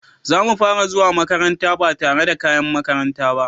Zamu fara zuwa makaranta ba tare da kayan makaranta ba.